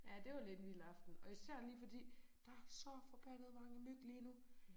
Ja det var lidt en vild aften og især lige fordi der så forbandet mange myg lige nu